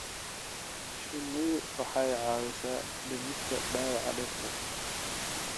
Shinnidu waxay caawisaa dhimista dhaawaca dhirta.